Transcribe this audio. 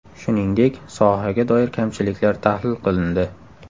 Shuningdek, sohaga doir kamchiliklar tahlil qilindi.